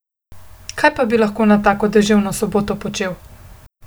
Kaj pa bi lahko na tako deževno soboto počel?